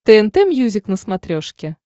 тнт мьюзик на смотрешке